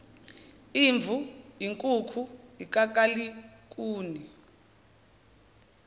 imvu inkuku ikakalikuni